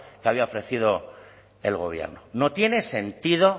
que había ofrecido el gobierno no tiene sentido